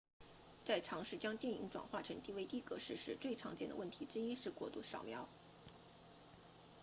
在尝试将电影转换成 dvd 格式时最常见的问题之一是过度扫描